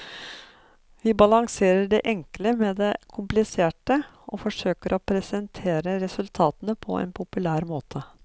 Vi balanserer det enkle med det kompliserte, og forsøker å presentere resultatene på en populær måte.